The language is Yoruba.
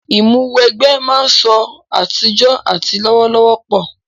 Ìmúw'ẹgbẹ́ máa ń sọ àtijọ́ àti lọ́wọ́lọ́wọ́ pọ̀